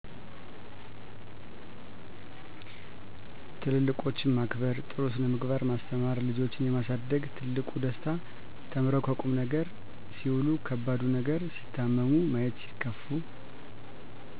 ትልልቁችን ማክበር ጥሩስነ ምግባር ማስተማር ልጆችንየማሳደግ ትልቁ ደስታ ተምረዉ ከቁምነገር ሴዉሉ ከባዱ ነገር ሲታመሙ ማየትሲከፉ